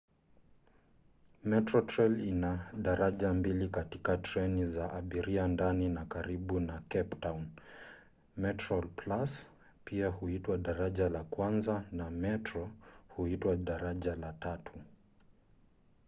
metrorail ina daraja mbili katika treni za abiria ndani na karibu na cape town: metroplus pia huitwa daraja la kwanza na metro huitwa daraja la tatu